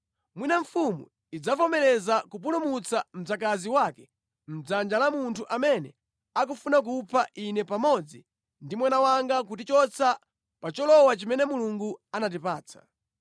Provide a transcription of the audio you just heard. Mwina mfumu idzavomereza kupulumutsa mdzakazi wake mʼdzanja la munthu amene akufuna kupha ine pamodzi ndi mwana wanga kutichotsa pa cholowa chimene Mulungu anatipatsa.’